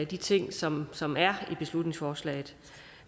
de ting som som er i beslutningsforslaget